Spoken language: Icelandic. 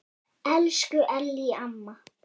Elsku Ellý amma.